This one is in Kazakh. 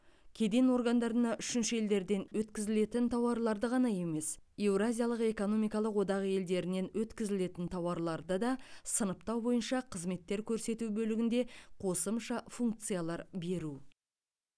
кеден органдарына үшінші елдерден өткізілетін тауарларды ғана емес еуразиялық экономикалық одақ елдерінен өткізілетін тауарларды да сыныптау бойынша қызметтер көрсету бөлігінде қосымша функциялар беру